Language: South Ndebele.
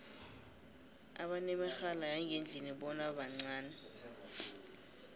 abanemirhala yangendlini bona bancani